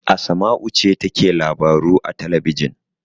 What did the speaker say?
Asma'u ce take labaru a talbijin.